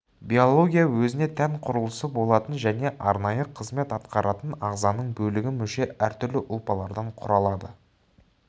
биология өзіне тән құрылысы болатын және арнайы қызмет атқаратын ағзаның бөлігі мүше әртүрлі ұлпалардан құралады